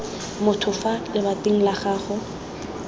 motho fa lebating la gago